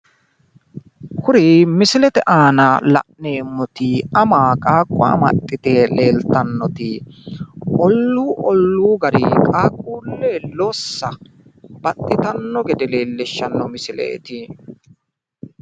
kuri misilete aana la'neemoti ama qaaqqo amaxxite leeltanoti olluu olluu garinni qaaqquulle lossa baxxititannota leellishanno misileeti.